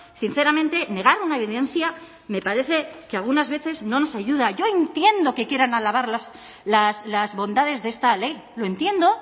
sinceramente negar una evidencia me parece que algunas veces no nos ayuda yo entiendo que quieran alabar las bondades de esta ley lo entiendo